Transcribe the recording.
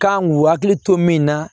Kan k'u hakili to min na